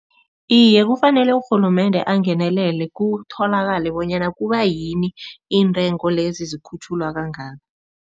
Iye, kufanele urhulumende angenelele kutholakale bonyana kubayini intengo lezi zikhutjhulwa kangaka.